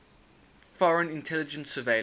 foreign intelligence surveillance